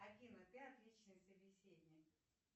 афина ты отличный собеседник